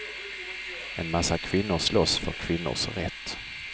En massa kvinnor slåss för kvinnors rätt.